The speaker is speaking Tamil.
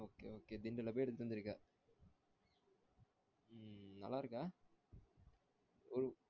Okay okay திண்டல்ல போய் எடுத்துட்டு வந்துருக்க உம் நல்லா இருக்கா